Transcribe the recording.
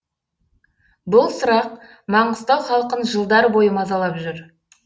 бұл сұрақ маңғыстау халқын жылдар бойы мазалап жүр